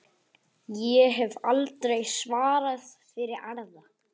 Ég hef aldrei svarað fyrir aðra.